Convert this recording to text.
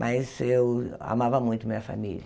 Mas eu amava muito minha família.